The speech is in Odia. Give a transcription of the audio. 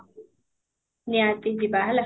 ନିହାତି ଯିବା ହେଲା